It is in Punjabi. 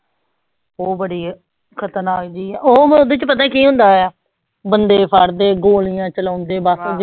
ਓ ਬੜੀ ਖਤਰਨਾਕ ਜੀ ਆ ਓ ਓਹਦੇ ਚ ਪਤਾ ਕਿ ਹੁੰਦਾ ਆ ਬੰਦੇ ਫੜ ਦੇ ਗੋਲੀਆਂ ਚਲਾਉਂਦੇ ਬਸ